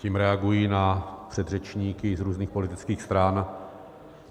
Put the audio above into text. Tím reaguji na předřečníky z různých politických stran.